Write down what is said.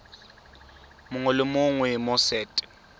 mongwe le mongwe mo set